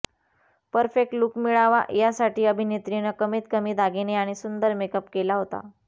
perfect look मिळावा यासाठी अभिनेत्रीनं कमीत कमी दागिने आणि सुंदर मेकअप केला होता